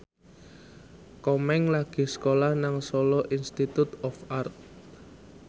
Komeng lagi sekolah nang Solo Institute of Art